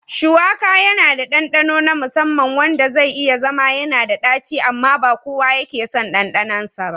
Shuwaka yana da ɗanɗano na musamman wanda zai iya zama yanada daci amma ba kowa ke son ɗanɗanonsa ba.